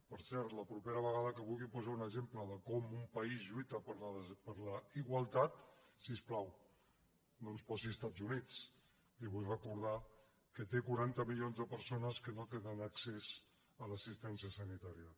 per cert la propera vegada que vulgui posar un exemple de com un país lluita per la igualtat si us plau no ens posi els estats units li vull recordar que té quaranta milions de persones que no tenen accés a l’assistència sanitària